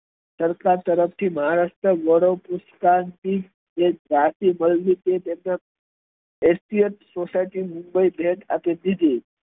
સરકાર તરફથી maharashtra board જે જાતી મળી છે તેમના S D F society mumbai ભેટ આપી દીધી